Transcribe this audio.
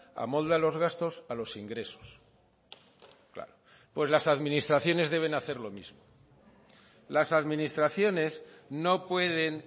amolda los gastos a los ingresos claro pues las administraciones deben hacer lo mismo las administraciones no pueden